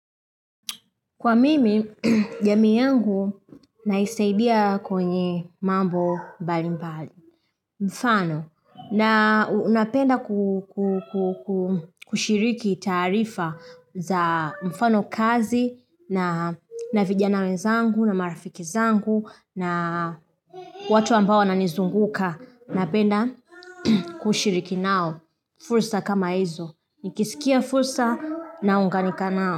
Kwa mimi, jamii yangu naisaidia kwenye mambo mbali mbali. Mfano, na unapenda kushiriki taarifa za mfano kazi, na vijana wezangu, na marafiki zangu, na watu ambao wanizunguka. Napenda kushiriki nao, fursa kama izo. Nikisikia fursa na unganika nao.